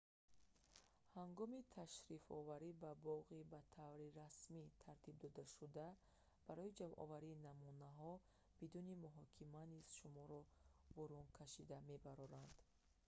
ҳангоми ташрифоварӣ ба боғи ба таври расмӣ тартиб додашуда барои ҷамъоварии намунаҳо бидуни муҳокима низ шуморо бурен кашида мебароранд